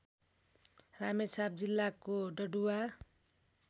रामेछाप जिल्लाको डडुवा